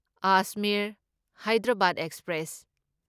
Ajmer Hyderabad express